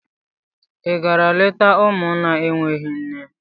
I gara leta ụlọ ụmụ na-enweghị nne?